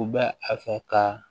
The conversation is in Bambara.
U bɛ a fɛ ka